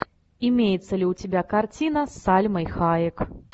имеется ли у тебя картина с сальмой хайек